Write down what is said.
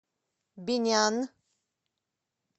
бинян